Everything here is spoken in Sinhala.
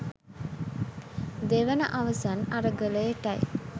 දෙවන අවසන් අරගලයටයි